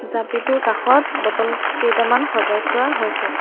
জাপিটোৰ কাষত বটল কেইটামান সজাই থোৱা হৈছে।